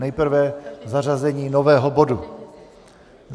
Nejprve zařazení nového bodu.